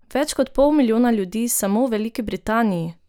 Več kot pol milijona ljudi samo v Veliki Britaniji!